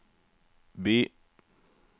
by